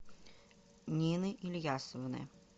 нины ильясовны